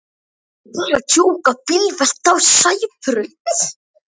Bílvelta á Sæbraut